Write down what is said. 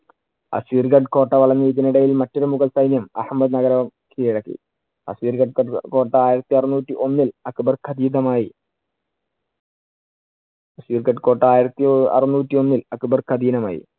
കോട്ട വളഞ്ഞ് ഇതിനിടയിൽ മറ്റൊരു മുഗൾ സൈന്യം അഹമ്മദ് നഗരം കീഴടക്കി. അസീർഗട്ട് കോട്ട ആയിരത്തിയറുന്നൂറ്റി ഒന്നിൽ അക്ബർക്ക് അധീതമായി. കോട്ട ആയിരത്തി അറന്നൂറ്റി ഒന്നില്‍ അക്ബര്‍ക്ക് അധീനമായി.